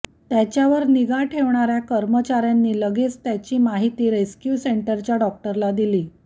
त्याच्यावर निगा ठेवणाऱ्या कर्मचाऱ्यांनी लगेच त्याची माहिती रेस्क्यू सेंटरच्या डॉक्टरला दिली